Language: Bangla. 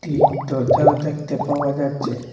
এই দরজাও দেখতে পাওয়া যাচ্ছে।